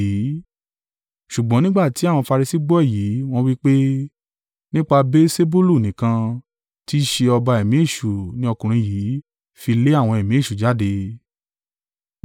Ṣùgbọ́n nígbà tí àwọn Farisi gbọ́ èyí, wọ́n wí pé, “Nípa Beelsebulu nìkan, tí í ṣe ọba ẹ̀mí èṣù ni ọkùnrin yìí fi lé àwọn ẹ̀mí èṣù jáde.”